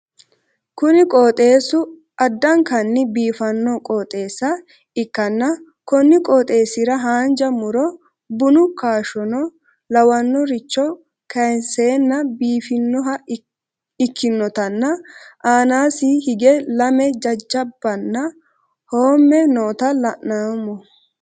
Kuni qooxeessu addankanni biifanno qooxeessa ikkanna konni qooxeessira haanja mu'ro bunu kaashshono lawannoricho kaayiinseenna biifinoha ikkinotanna aanasiinni higge lame jajjabaanna hoomme noota la'noommo.